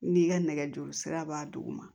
N'i ka nɛgɛjuru sira b'a duguma